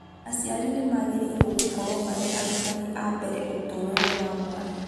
Aciari nĩ maĩrĩkĩragwo gũkorwo marĩ arutani a mbere ũtũũro-inĩ wa mwana.